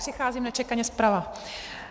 Přicházím nečekaně zprava.